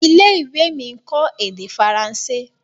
ilé-ìwé mí nkọ èdè Faransé.